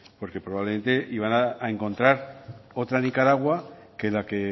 porque probablemente iban a encontrar otra nicaragua que la que